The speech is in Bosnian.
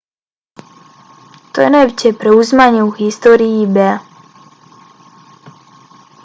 to je najveće preuzimanje u historiji ebaya